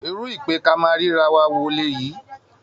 Irú ìpè-ká-máa-ríra-wa wo lèyí!